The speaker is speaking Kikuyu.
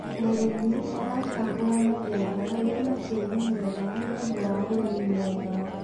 mũrĩmi aracagũra mũgũnda wina tĩĩri mwega nĩũndũ wa ũrĩmi mwega